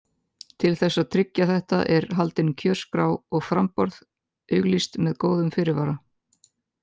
Til þess að tryggja þetta er haldin kjörskrá og framboð auglýst með góðum fyrirvara.